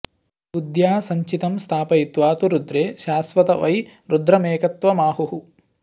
बुद्ध्या सञ्चितं स्थापयित्वा तु रुद्रे शाश्वत वै रुद्रमेकत्वमाहुः